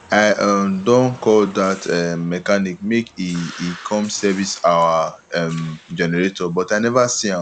i um don call dat um mechanic make e e come service our um generator but i never see am